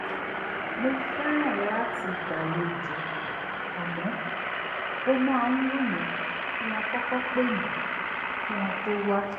mo fẹ́ràn láti gbàlejò àmọ́ ó máa ń wù mí kí wọ́n kọ́kọ́ pè mí kí wọ́n tó wá